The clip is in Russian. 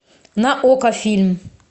на окко фильм